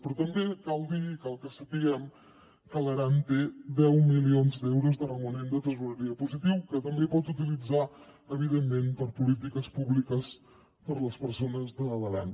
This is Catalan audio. però també cal dir i cal que sapiguem que l’aran té deu milions d’euros de romanent de tresoreria positiu que també pot utilitzar evidentment per a polítiques públiques per a les persones de l’aran